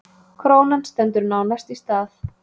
Krónan stendur nánast í stað